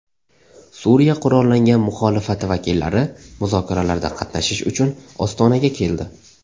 Suriya qurollangan muxolifati vakillari muzokaralarda qatnashish uchun Ostonaga keldi.